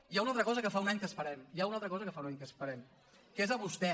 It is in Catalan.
hi ha una altra cosa que fa un any que esperem hi ha una altra cosa que fa un any que esperem que és a vostè